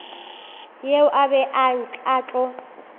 yeo a bego a tlo